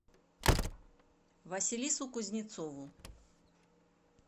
василису кузнецову